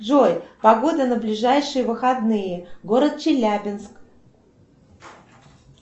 джой погода на ближайшие выходные город челябинск